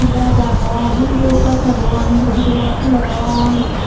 gach agon undio gach agon building gor tulodon.